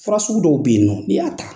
Fara sugu dɔw bɛ yen nɔ n'i y'a ta!